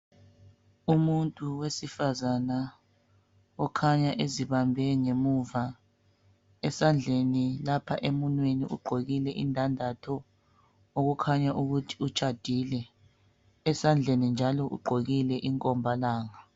Umuntu wesifazana okhanya ezibambe ngemuva esandleni lapha emunweni ugqokile indandatho okukhanya ukuthi utshadile. Esandle njalo ugqokile inkombalanga